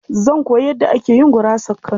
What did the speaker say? Zan koyi yadda ake yin gurasar Kano.